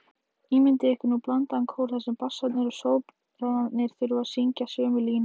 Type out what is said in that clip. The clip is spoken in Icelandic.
Ímyndið ykkur nú blandaðan kór þar sem bassarnir og sópranarnir þurfa að syngja sömu laglínu.